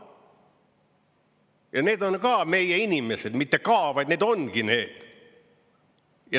Ja need on ka meie inimesed, mitte ka, vaid need ongi need.